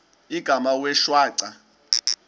igama wee shwaca